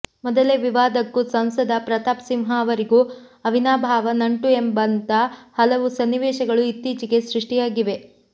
ಮೊದಲೇ ವಿವಾದಕ್ಕೂ ಸಂಸದ ಪ್ರತಾಪ್ ಸಿಂಹ ಅವರಿಗೂ ಅವಿನಾಭಾವ ನಂಟು ಎಂಬಂಥ ಹಲವು ಸನ್ನಿವೇಶಗಳು ಇತ್ತೀಚೆಗೆ ಸೃಷ್ಟಿಯಾಗಿವೆ